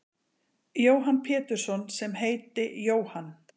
Jóhann Pétursson sem heiti Jóhann.